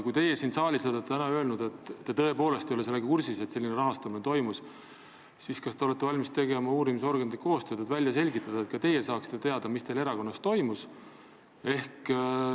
Kui te olete siin saalis täna öelnud, et te tõepoolest ei ole kursis, et selline rahastamine toimus, siis kas te olete valmis tegema uurimisorganitega koostööd, et see välja selgitada, nii et ka teie saaksite teada, mis teil erakonnas toimus?